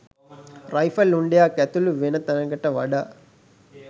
rifle උණ්ඩයක් ඇතුළු වෙන තැනට වඩා